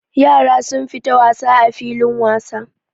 Yara sun fita wasa a filin wasa.